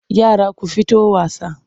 Yara ku fito wasa!